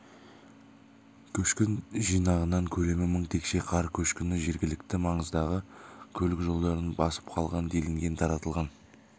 көшкін жинағынан көлемі мың текше қар көшкіні жергілікті маңыздағы көлік жолдарын басып қалған делінген таратылған